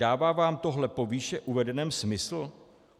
Dává vám tohle po výše uvedeném smysl?